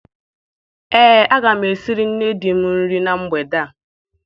Ee, aga m esiri nne di m nri na mgbede a.